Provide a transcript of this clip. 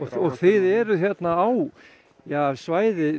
og þið eruð á svæði